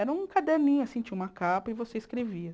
Era um caderninho, assim, tinha uma capa e você escrevia.